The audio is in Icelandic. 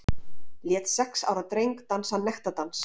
Lét sex ára dreng dansa nektardans